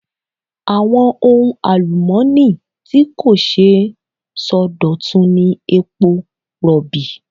Àwọn ohun àlùmọ́ọ́nì tí kò ṣeé sọdọ̀tun ni epo Rọ̀bì.